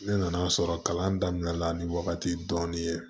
Ne nan'a sɔrɔ kalan daminɛ la ni wagati dɔɔni ye